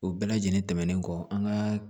U bɛɛ lajɛlen tɛmɛnen kɔ an ka